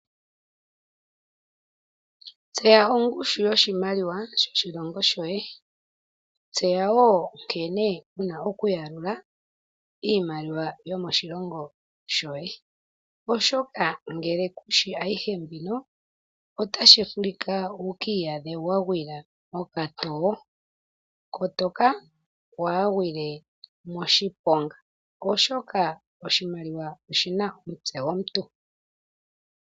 Tseya ongushu yoshimaliwa sho shilongo shoye, tseya wo nkene wuna okuyalula iimaliwa yomoshilongo shoye oshoka ngele kushi ayihe mbino otashi vulika wuki iyadhe wagwila mokato. Kotoka wa gwile moshiponga oshoka oshimaliwa oshina omutse gomuntu.